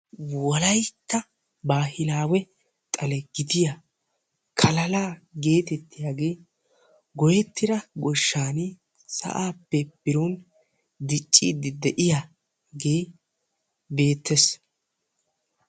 wolaytta baahilaawe xale giddiya santta bulloy sa'aappe pude kiyiyaagee beetees. ikka qassi miizzay maanawu maaddees.